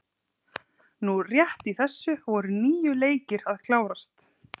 Núna rétt í þessu voru níu leikir að klárast.